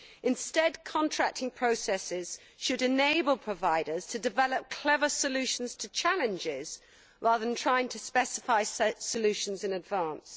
Instead, contracting processes should enable providers to develop clever solutions to challenges, rather than try to specify solutions in advance.